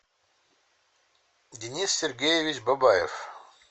денис сергеевич бабаев